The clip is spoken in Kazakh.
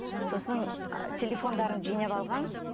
сосын телефондарын жинап алған